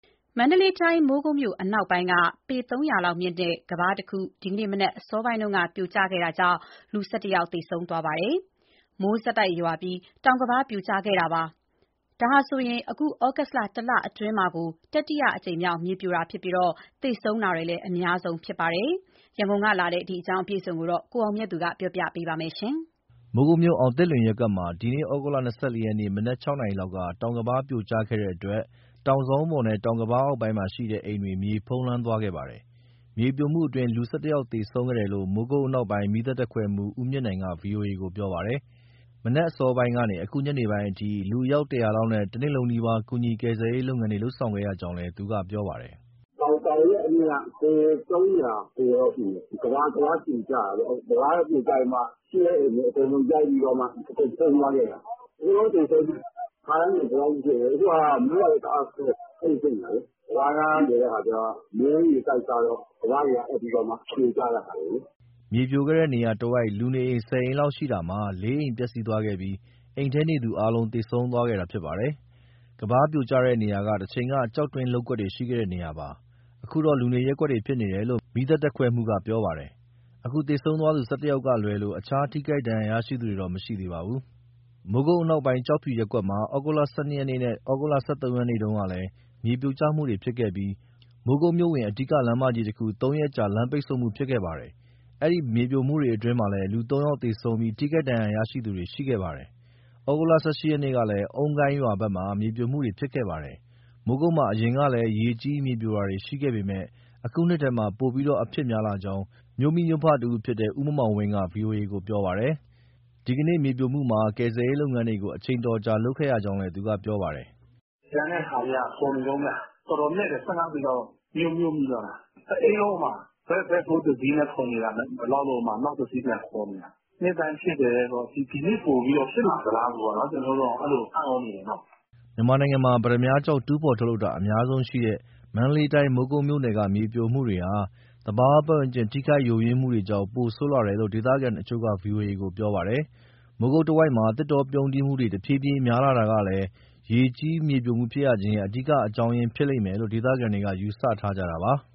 မန္တလေးတိုင်း၊ မိုးကုတ်မြို့အနောက်ပိုင်းက ပေသုံးရာလောက်မြင့်တဲ့ တောင်ကမ်းပါးတခု ဒီကနေ့မနက် အစောပိုင်းမှာ ပြိုကျခဲ့တာကြောင့် ၁၁ ယောက်သေဆုံးခဲ့ပါတယ်။ မိုးဆက်တိုက်ရွာသွန်းပြီး တောင်ကမ်းပါးပြိုကျခဲ့တာဖြစ်ပါတယ်။ ဒါဟာ အခုဩဂုတ် တလအတွင်းမှာပဲ တတိယအကြိမ်မြောက် မြေပြိုမှုဖြစ်ပြီး သေဆုံးမှုလည်း အများဆုံး ဖြစ်ခဲ့တာပါ။ ရန်ကုန်ကလာတဲ့ ဒီတင်းအပြည့်အစုံကို ကိုအောင်မြတ်သူ က ပြောပြမှာပါ။ မိုးကုတ်မြို့၊ အောင်သစ်လွင်ရပ်ကွက်မှာ ဒီနေ့ သြဂုတ်လ ၂၄ ရက် မနက် ၆နာရီလောက်က တောင်ကမ်းပါးပြိုကျခဲ့တဲ့အတွက် တောင်စောင်းပေါ်နဲ့ တောင်ကမ်းပါးအောက်ပိုင်းမှာရှိတဲ့ အိမ်တွေ မြေဖုံးလွှမ်းသွားခဲ့ပါတယ်။ မြေပြိုမှုအတွင်း ၁၁ ယောက်သေဆုံးခဲ့တယ်လို့ မိုးကုတ်အနောက်ပိုင်း မီးသတ်တပ်ခွဲမှူး ဦးမြင့်နိုင်က ဗွီအိုအေကို ပြောပါတယ်။ မနက်အစောပိုင်းကနေ အခုညနေပိုင်းအထိ လူအယောက် ၁၀၀ လောက်နဲ့ တနေ့လုံးနီးပါး ကူညီကယ်ဆယ်ရေးလုပ်ငန်းတွေ လုပ်ဆောင်ခဲ့ရကြောင်း သူကပြောပါတယ်။ “ တောင်ရဲ့အမြင့်က ပေ၃၀၀ ကျော်ကျော်လောက်ရှိတယ်။ ကမ်းပါးပြိုကျတာပေါ့။ ပြိုကျပြီးမှ ရှိတဲ့အိမ်တွေအကုန်လုံး လိုက်ပြီးတော့မှ အကုန်ဖုံးသွားခဲ့တာ။ အကုန်လုံးသေဆုံးပဲ။ ခါတိုင်းဆို ဒီလောက်မဖြစ်ဘူး၊ အခုဟာက မိုးကလည်း တအားဆိုးတယ် အဲဒီလိုဖြစ်နေတာကိုး။ ကမ်းပါးနား နေတဲ့အခါကျတော့ မိုးရေတိုက်စားတော့ ကမ်းပါးတွေကအက်ပြီးတော့မှ ပြိုကျတာကိုး။” မြေပြိုကျတဲ့နေရာတဝိုက် လူနေအိမ် ၁၀ အိမ်လောက်ရှိတာမှာ ၄ အိမ်ပျက်စီးသွားခဲ့ပြီး အိမ်ထဲနေသူတွေအားလုံး သေဆုံးသွားတာဖြစ်ပါတယ်။ ကမ်းပါးပြိုတဲ့နေရာက တချိန်က ကျောက်တွင်း လုပ်ကွက်တွေ ရှိခဲ့တဲ့နေရာပါ။ အခုတော့လူနေရပ်ကွက် ဖြစ်နေတယ်လို့ မီးသတ်တပ်ခွဲမှူးက ကပြောပါတယ်။ အခုသေဆုံးသွားသူ ၁၁ ယောက်ကလွဲလို့ တခြားထိခိုက်ဒဏ်ရာရသူတွေတော့ မရှိပါဘူး။ မိုးကုတ်အနောက်ပိုင်း ကျောက်ဖြူရပ်ကွက်မှာ ဩဂုတ်လ ၁၂ ရက်နေ့နဲ့ ဩဂုတ်လ ၁၃ ရက်နေ့တုန်းကလည်း မြေပြိုကျမှုတွေဖြစ်ခဲ့ပြီး မိုးကုတ်မြို့ဝင် အဓိကလမ်းမကြီးတခု ၃ ရက်ကြာ လမ်းပိတ်ဆို့မှု ဖြစ်ခဲ့ပါတယ်။ အဲဒီမြေပြိုမှုတွေအတွင်းမှာလည်း ၃ ယောက်သေဆုံးပြီး ထိခိုက်ဒဏ်ရာရသူတွေ ရှိခဲ့ပါတယ်။ ဩဂုတ်လ ၁၈ ရက်ကလည်း အုန်းကိုင်းရွာဘက်မှာ မြေပြိုမှုတွေဖြစ်ခဲ့ပါတယ်။ မိုးကုတ်မြို့မှာ အရင်ကလည်း ရေကြီး၊ မြေပြိုတာတွေ ရှိခဲ့ပေမဲ့ အခုနှစ်ထဲမှာ ပိုပြီးအဖြစ်များလာကြောင်း မြို့မိမြို့ဖတဦးဖြစ်တဲ့ ဦးမောင်မောင်ဝင်းက ဗွီအိုအေကို ပြောပါတယ်။ ဒီနေ့မြေပြိုမှုမှာ ကယ်ဆယ်ရေးလုပ်ငန်းတွေကို အချိန်အတော်ကြာ လုပ်ခဲ့ရကြောင်းလည်း သူကပြောပါတယ်။ “ ကျန်တာတွေက ဖော်နေတုန်းဗျ။ တော်တော်နက်တယ် ၁၅ ပေလောက် မြုပ်မိသွားတာ။ တအိမ်လုံး ဘတ်ဖိုးတစီးနဲ့ ဖော်နေတာ မလောက်လို့ နောက်တစီး ပြန်ခေါ်နေတာ။ နှစ်တိုင်းဖြစ်တယ်၊ ဒီနှစ်ပိုပြီးတော့ ဖြစ်လာသလားပေါ့ ကျနော်တို့တောင် အဲလိုအံ့ဩနေတယ်နော်။” မြန်မာနိုင်ငံမှာ ပတ္တမြားကျောက် တူးဖော်ထုတ်လုပ်တာ အများဆုံးရှိတဲ့ မန္တလေးတိုင်း မိုးကုတ်မြို့နယ်က မြေပြိုမှုတွေဟာ သဘာဝပတ်ဝန်းကျင် ထိခိုက် ယိုယွင်းမှုတွေကြောင့် ပိုဆိုးလာတယ်လို့ ဒေသခံတချို့က ဗွီအိုအေကို ပြောပါတယ်။ မိုးကုတ်တဝိုက်မှာ သစ်တောပြုန်းတီးမှုတွေ တဖြည်းဖြည်း များလာတာကလည်း ရေကြီး၊ မြေပြိုရခြင်းရဲ့ အဓိကအကြောင်းရင်း ဖြစ်လိမ့်မယ်လို့ ဒေသခံတွေက ယူဆထားကြတာပါ။